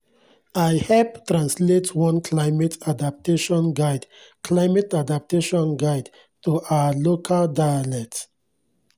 i hep translate one climate adaptation guide climate adaptation guide to our local dialect.